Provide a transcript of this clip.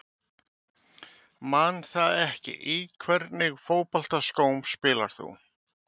Man það ekki Í hvernig fótboltaskóm spilar þú?